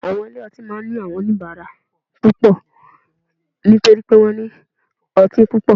Àwọn ilé ọtí máa ní àwọn oníbàárà púpọ̀ nítorí pé wọ́n ní ọtí púpọ̀